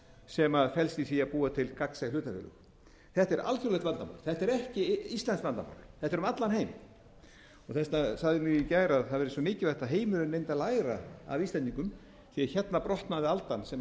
sem felst í því að búa til gagnsæ hlutafélög þetta er alþjóðlegt vandamál þetta er ekki íslenskt vandamál þetta er um allan heim þess vegna sagði ég í gær að það væri svo mikilvægt að heimurinn mundi læra að af íslendingum því að hérna brotnaði undiraldan sem